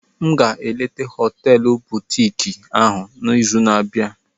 M ga-eleta họteelu butiiki ahụ n'izu na-abịa.